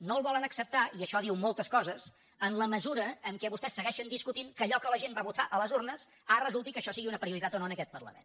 no el volen acceptar i això diu moltes coses en la mesura que vostès segueixen discutint que allò que la gent va votar a les urnes ara resulti que això sigui una prioritat o no en aquest parlament